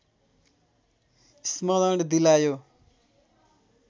स्मरण दिलायो